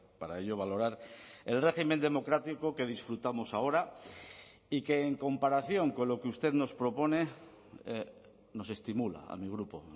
para ello valorar el régimen democrático que disfrutamos ahora y que en comparación con lo que usted nos propone nos estimula a mi grupo